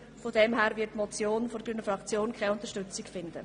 Von daher wird die Motion bei der grünen Fraktion keine Unterstützung finden.